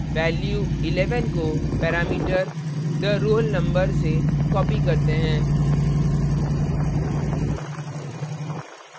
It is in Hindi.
value 11 को parameter the _ roll _ number से copied करते हैं